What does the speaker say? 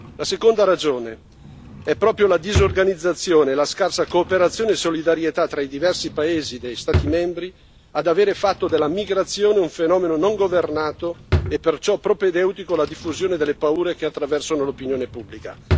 La seconda ragione sono proprio la disorganizzazione, la scarsa cooperazione e solidarietà tra i diversi paesi degli Stati membri ad avere fatto della migrazione un fenomeno non governato e perciò propedeutico alla diffusione delle paure che attraversano l'opinione pubblica.